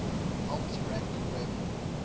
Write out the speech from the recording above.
helps rank web